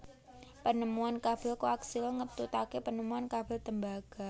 Penemuan kabel koaksial ngetutake penemuan kabel tembaga